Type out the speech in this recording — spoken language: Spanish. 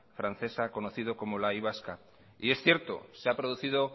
francesa conocido como la y vasca y es cierto se ha producido